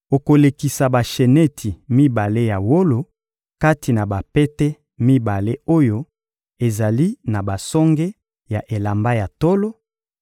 Okolekisa basheneti mibale ya wolo kati na bapete mibale oyo ezali na basonge ya elamba ya tolo,